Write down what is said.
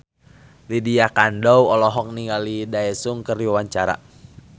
Lydia Kandou olohok ningali Daesung keur diwawancara